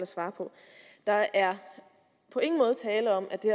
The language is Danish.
svare på der er på ingen måde tale om at det